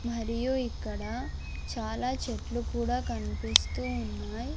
మరియు ఇక్కడ చాలా చెట్లు కూడా కన్పిస్తూ ఉన్నాయ్.